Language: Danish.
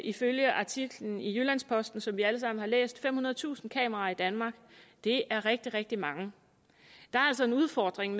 ifølge artiklen i jyllands posten som vi alle sammen har læst femhundredetusind kameraer i danmark det er rigtig rigtig mange der er altså en udfordring